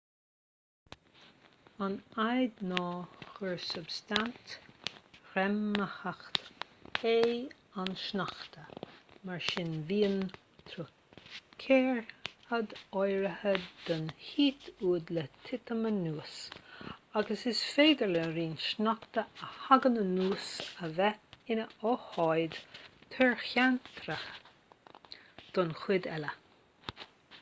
an fhadhb ná gur substaint ghreamaitheach é an sneachta mar sin bíonn truicearadh áirithe de dhíth uaidh le titim anuas agus is féidir le roinnt sneachta a thagann anuas a bheith ina ócáid truicearaithe don chuid eile